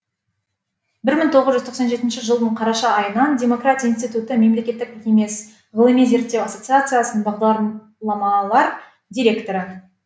бір мың тоғыз жүз тоқсан жетінші жылдың қараша айынан демократия институты мемлекеттік емес ғылыми зерттеу ассоциациясының бағдаламалар директоры